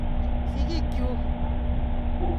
Sigik chuk chun.